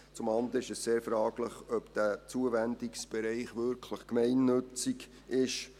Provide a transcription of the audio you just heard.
Zum anderen ist es sehr fraglich, ob dieser Zuwendungsbereich wirklich gemeinnützig ist.